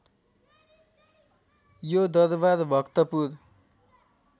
यो दरबार भक्तपुर